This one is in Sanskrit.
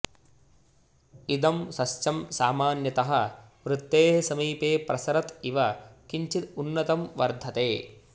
इदं सस्यं समान्यतः वृतेः समीपे प्रसरत् इव किञ्चित उन्नतं वर्धते